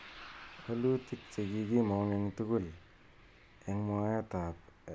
Walutik che kikimong eng tugul eng mwaet ab LAYS ak mwaet ap PISA.